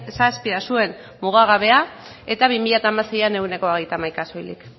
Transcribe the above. zazpia zuen mugagabea eta bi mila hamaseian ehuneko hogeita hamaika soilik